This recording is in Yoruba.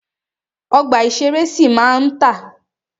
Ọgbà ìṣẹ̀rẹ́ sì máa ma tà.